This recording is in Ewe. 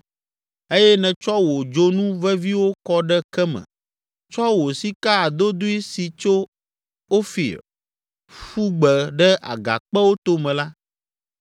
eye nètsɔ wò dzonu veviwo kɔ ɖe ke me, tsɔ wò sika adodoe si tso Ofir ƒu gbe ɖe agakpewo tome la,